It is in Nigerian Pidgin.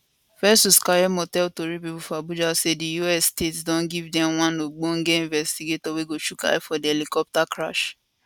festus keyamo tell tori pipo for abuja say di us states don give dem one ogbonge investigator wey go chook eye for di helicopter crash